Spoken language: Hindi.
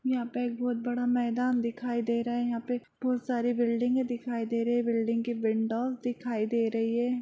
यहाँ पे एक बहुत बड़ा मैदान दिखाई दे रहा है यहा पे बहुत सारी बिल्डिंग दिखाई दे रही है बिल्डिंग के विंडोज दिखाई दे रही है।